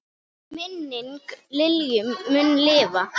Minning Lilju mun lifa.